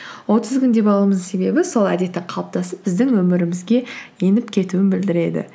отыз күн деп алуымыздың себебі сол әдеттің қалыптасып біздің өмірімізге еніп кетуін білдіреді